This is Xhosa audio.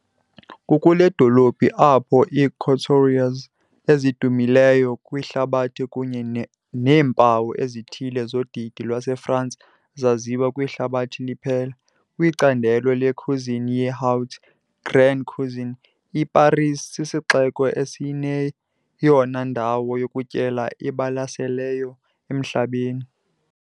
Kukule dolophu apho ii-couturiers ezidumileyo kwihlabathi kunye neempawu ezithile zodidi lwaseFrance zaziwa kwihlabathi liphela. Kwicandelo le-cuisine ye-haute, Grande Cuisine, iParis sisixeko esineyona ndawo yokutyela ibalaseleyo emhlabeni.